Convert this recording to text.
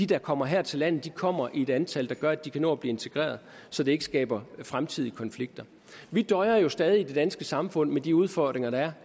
der kommer her til landet kommer i et antal der gør at de kan nå at blive integreret så det ikke skaber fremtidige konflikter vi døjer stadig i det danske samfund med de udfordringer der er